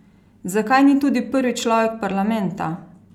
Zakaj ni tudi prvi človek parlamenta?